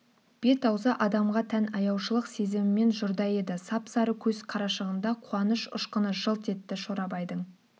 бет-аузы адамға тән аяушылық сезімінен жұрдай еді сап-сары көз қарашығында қуаныш ұшқыны жылт етті шорабайдың